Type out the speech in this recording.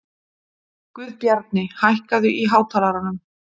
Guðbjarni, hækkaðu í hátalaranum.